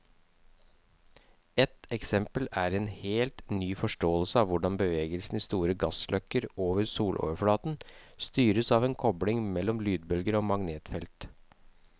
Et eksempel er en helt ny forståelse av hvordan bevegelsen i store gassløkker over soloverflaten styres av en kobling mellom lydbølger og magnetfeltet.